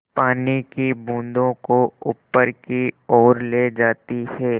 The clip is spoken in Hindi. पानी की बूँदों को ऊपर की ओर ले जाती है